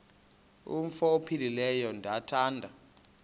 umf ophaphileyo ndithanda